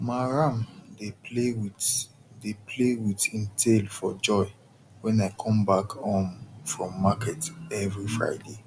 ma ram dey play with dey play with im tail for joy wen i come back um from market every friday